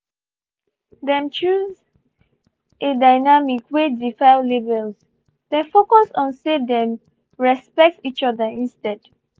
them choose a dynamic wey defile labels dem focus on say them respect each other instead